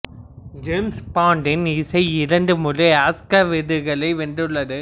James பாண்டின் இசை இரண்டு முறை ஆஸ்கர் விருதுகளை வென்றுள்ளது